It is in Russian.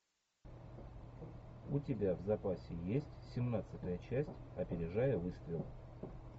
у тебя в запасе есть семнадцатая часть опережая выстрел